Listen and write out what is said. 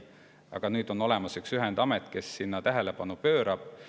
Aga nüüd hakkab olemas olema üks ühendamet, kes sellele tähelepanu pöörab.